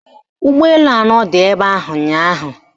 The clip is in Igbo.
Ụgbọelu anọ dị ebe ahụ ụnyaahụ